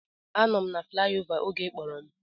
Anọ m na flayova oge ị kpọrọ m